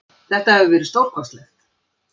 Þetta hefur verið stórkostlegt.